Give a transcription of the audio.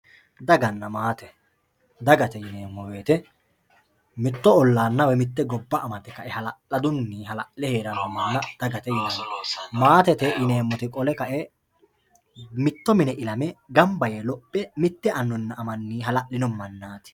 dagnna maate dagate yineemmo woyte mitto ollaanna woy mitte gobba amadde heedhannote maatete yineemmoti qole kae mitto mine ilame mittu annina amanni hala'lino mannaati